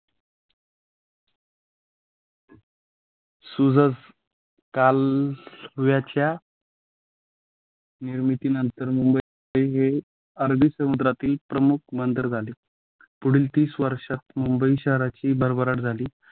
सुजस कालव्याच्या निर्मितीनंतर मुंबई हे अरबी समुद्रातील प्रमुख बंदर झाले. पुढील तीस वर्षात मुंबई शहराची भरभराट झाली